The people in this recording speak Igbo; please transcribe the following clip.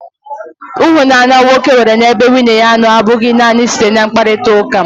Ịhụnanya nwoke nwere n'ebe nwunye ya nọ abụghị naanị site na mkparịtaụka.